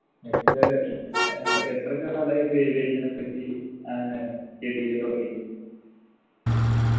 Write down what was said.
എത്ര ഏർ എന്താ എത്ര കാലായി ഇപ്പൊ aviation നേപ്പറ്റി ഏർ study എയ്യ തുടങ്ങീട്ട്